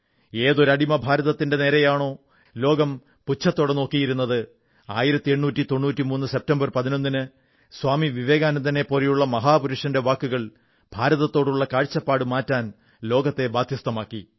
ഏതൊരു അടിമഭാരതത്തിന്റെ നേരെയാണോ ലോകം പുച്ഛത്തോടെ നോക്കിയിരുന്നത് 1893 സെപ്റ്റംബർ 11 ന് സ്വാമി വിവേകാനന്ദനെപ്പോലുള്ള മഹാപുരുഷന്റെ വാക്കുകൾ ഭാരതത്തോടുള്ള കാഴ്ചപ്പാടു മാറ്റാൻ ലോകത്തെ ബാധ്യസ്ഥമാക്കി